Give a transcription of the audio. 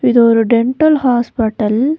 இது ஒரு dental hospital .